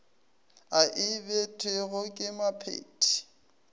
a e abetwego ke mophethii